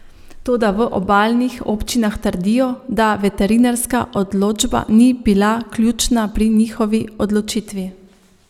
Toda v obalnih občinah trdijo, da veterinarska odločba ni bila ključna pri njihovi odločitvi.